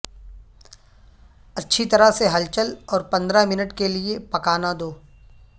اچھی طرح سے ہلچل اور پندرہ منٹ کے لئے پکانا دو